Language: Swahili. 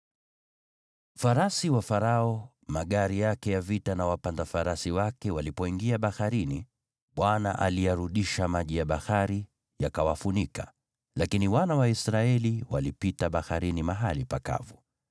Farasi wa Farao, magari yake ya vita na wapanda farasi wake walipoingia baharini, Bwana aliyarudisha maji ya bahari yakawafunika, lakini wana wa Israeli walipita baharini mahali pakavu.